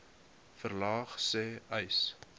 verlaag sê uys